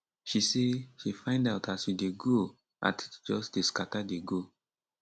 she say she find out as she dey grow her teeth just dey scata dey go